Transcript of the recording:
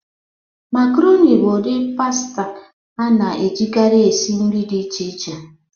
Makaroni bụ ụdị pasita a na-ejikarị esi nri dị iche iche.